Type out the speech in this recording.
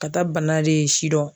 Ka taa bana de sidɔn.